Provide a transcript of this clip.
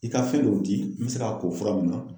I ka fɛn dɔw di n bɛ se k'a ko fura mun na.